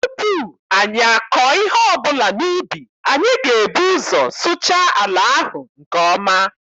Tupu anyị akọọ ihe ọbụla n'ubi, anyị ga- ebu ụzọ sụchaa ala ahụ nke ọma.